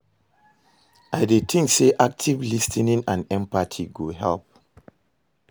i dey think say active lis ten ing and empathy go help.